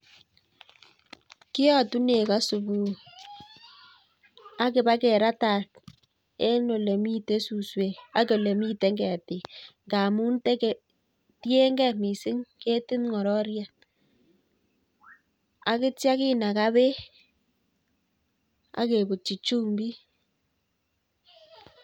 Kiyotu nego subuhi, agiba keratat en ole mitei suswek ak ole miten ketik ngamun tege, tiengei missing ketit ng'ororiet. Agitio kinaga beek agebuti chumbik.